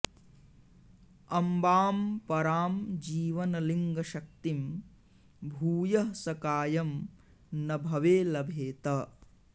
अम्बां परां जीवनलिङ्गशक्तिं भूयः स कायं न भवे लभेत